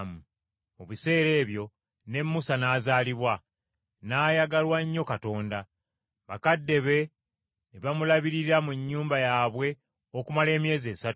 “Mu biseera ebyo ne Musa n’azaalibwa, n’ayagalwa nnyo Katonda. Bakadde be ne bamulabirira mu nnyumba yaabwe okumala emyezi esatu.